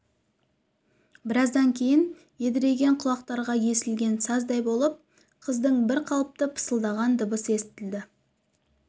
біраздан кейін едірейген құлақтарға есілген саздай болып қыздың бірқалыпты пысылдаған дыбысы естілді